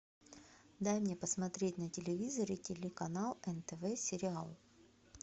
дай мне посмотреть на телевизоре телеканал нтв сериал